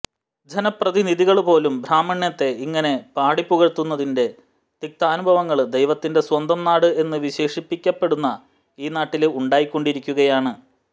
ജനപ്രതിനിധികള് പോലും ബ്രാഹ്മണ്യത്തെ ഇങ്ങനെ പാടിപ്പുകഴ്ത്തുന്നതിന്റെ തിക്താനുഭവങ്ങള് ദൈവത്തിന്റെ സ്വന്തം നാട് എന്നു വിശേഷിപ്പിക്കപ്പെടുന്ന ഈ നാട്ടില് ഉണ്ടായിക്കൊണ്ടിരിക്കുകയാണ്